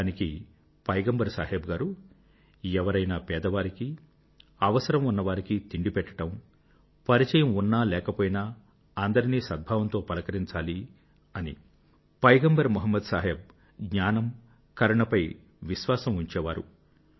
దానికి పైగంబర్ సాహెబ్ గారు ఎవరైనా పేదవారికి అవసరం ఉన్నవారికి తిండి పెట్టడం పరిచయమున్నా లేకపోయినా అందరినీ సద్భావంతో పలకరించాలి పైగంబర్ మొహమ్మద్ సాహెబ్ జ్ఞానము కరుణ లపై విశ్వాసం ఉంచేవారు